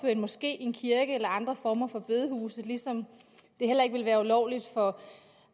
af en moské en kirke eller andre former for bedehuse ligesom det heller ikke vil være ulovligt for